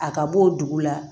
A ka bɔ dugu la